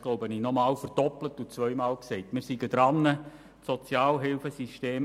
Er hat es verdoppelt und zweimal gesagt.